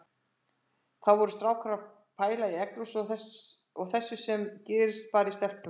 Hvað voru strákar að pæla í egglosi og þessu sem gerist bara í stelpum!